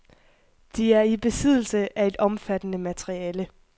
De er i besiddelse af et omfattende materiale.